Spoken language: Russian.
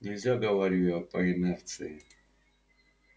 нельзя говорю я по инерции